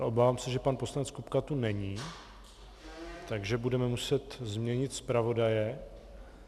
Ale obávám se, že pan poslanec Kupka tu není, takže budeme muset změnit zpravodaje.